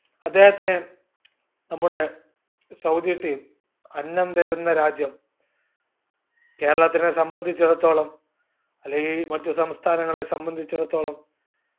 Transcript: അദ്ദേഹത്തിന് നമ്മുടെ Saudi team അന്നം തരുന്ന രാജ്യം കേരളത്തിനെ സംബന്ധിച്ചിടത്തോളം അല്ലെങ്കിൽ മറ്റു സംസ്ഥാനങ്ങളെ സംബന്ധിച്ചിടത്തോളം